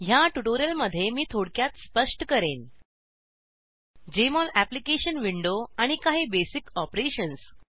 ह्या ट्युटोरियलमध्ये मी थोडक्यात स्पष्ट करेन जेएमओल अप्लिकेशन विंडो आणि काही बेसिक ऑपरेशन्स